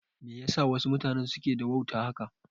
Me yasa wasu mutanen suke da wauta haka?